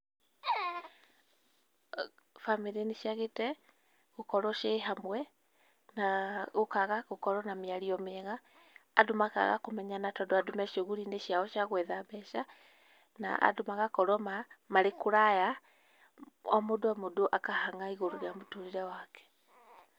Bamĩrĩ nĩciagĩte gukorwo ciĩ hamwe na gũkaga gũkorwo na mĩario mĩega, andũ makaga kũmenyana tondũ andũ me cuguri inĩ ciao cia gwetha mbeca na andũ magakorwo ma marĩ kũraya, o mũndũ o mũndũ akahang'a igũrũ rĩa mũtũrĩre wake.